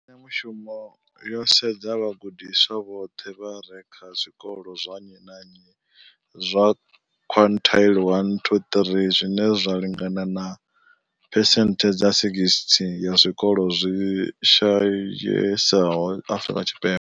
Mbekanyamushumo yo sedza vhagudiswa vhoṱhe vha re kha zwikolo zwa nnyi na nnyi zwa quintile 1-3, zwine zwa lingana na phesenthe dza 60 ya zwikolo zwi shayesaho Afrika Tshipembe.